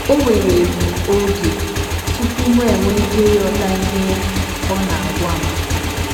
O were m oge tupu mụ enwee ike ịghọta ihe ọ na - agwa m.